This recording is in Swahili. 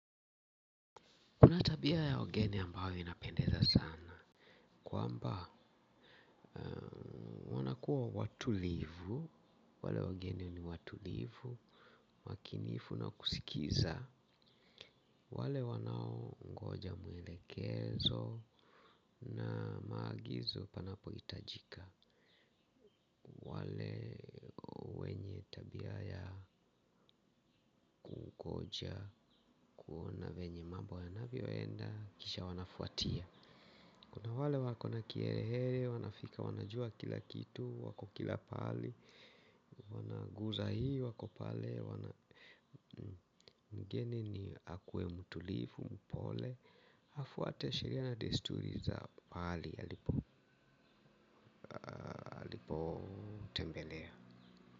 Kuna tabia ya wageni ambayo inapendeza sana kwamba wanakuwa watulivu, wale wageni ni watulivu, makinifu na kusikiza, wale wanaongoja mwelekezo na maagizo panapohitajika. Wale wenye tabia ya kungoja kuona venye mambo yanavyoenda kisha wanafuatia. Kuna wale wako na kiherehere wanafika wanajua kila kitu wako kila pahali wanaguza hii wako pale mgeni ni akuwe mtulivu, mpole, afuate sheria na desturi za pahali alipotembelea.